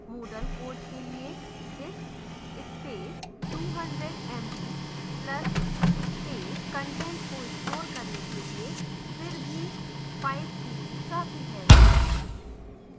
moodle code के लिए disk space: 200 mb plus space content को store करने के लिए फिर भी 5gb काफी है